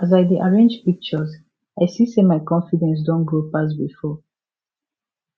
as i dey arrange pictures i see say my confidence don grow pass before